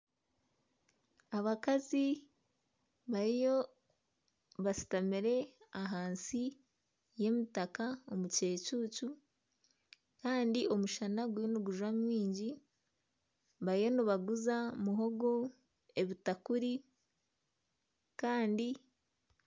Abakazi bariyo bashutamire ahansi y'emitaka omu kicuucu kandi omushana guriyo nigujwa mwingi, bariyo nibaguza muhogo ebitakuri